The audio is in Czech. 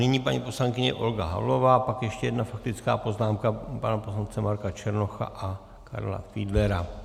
Nyní paní poslankyně Olga Havlová, pak ještě jedna faktická poznámka pana poslance Marka Černocha a Karla Fiedlera.